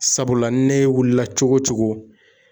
Sabula ne wulila cogo o cogo.